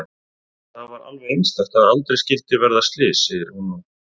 Það var alveg einstakt að aldrei skyldi verða slys, segir hún nú.